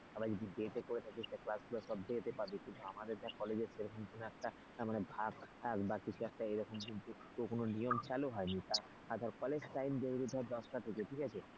আবার যদি day তে করে থাকিস ধর class গুলো day তে পাবি কিন্তু আমাদের দেখ কলেজে সে রকম কোনো একটা ভাগ টাগ কিছু একটা এরকম কিন্তু কোন নিয়ম চালু হয়নি, তা ধর কলেজ time daily ধর দশটা থেকে ঠিক আছে।